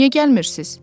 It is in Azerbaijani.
Niyə gəlmirsiniz?